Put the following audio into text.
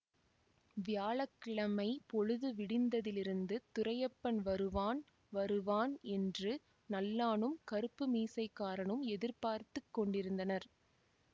வியாழ கிழமை பொழுது விடிந்ததிலிருந்து துரையப்பன் வருவான் வருவான் என்று நல்லானும் கறுப்பு மீசைக்காரனும் எதிர்பார்த்து கொண்டிருந்தனர்